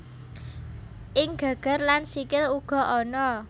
Ing geger lan sikil uga ana